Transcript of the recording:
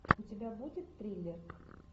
у тебя будет триллер